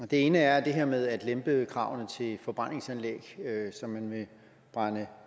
det ene er det her med at lempe kravene til forbrændingsanlæg som man vil brænde